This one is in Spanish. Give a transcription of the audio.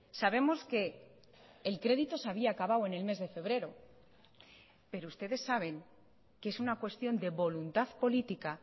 sabemos que el crédito se había acabado en el mes de febrero pero ustedes saben que es una cuestión de voluntad política